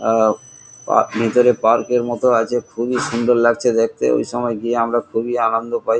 এ এ ভেতরে পার্ক এর মতো আছে খুবই সুন্দর লাগছে দেখতে এই সময় গিয়ে আমরা খুবই আনন্দ পাই।